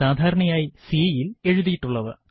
സാധാരണയായി C യിൽ എഴുതിയിട്ടുള്ളവ